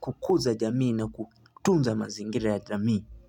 kukuza jamii na kutunza mazingire ya jamii.